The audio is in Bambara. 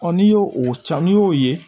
n'i y'o o ci n'i y'o ye